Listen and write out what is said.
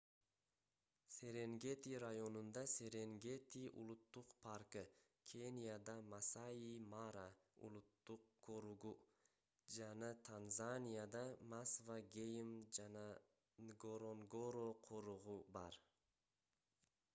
серенгети районунда серенгети улуттук паркы кенияда масаи мара улуттук коругу жана танзанияда масва гейм жана нгоронгоро коругу бар